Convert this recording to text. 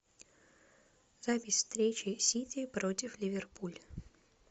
запись встречи сити против ливерпуль